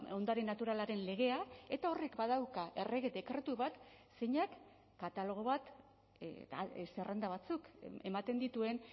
ondare naturalaren legea eta horrek badauka errege dekretu bat zeinak katalogo bat zerrenda batzuk ematen dituen